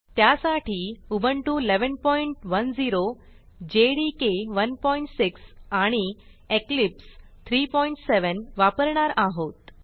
त्यासाठी Ubuntu 1110 JDK 16 आणि Eclipse 37 वापरणार आहोत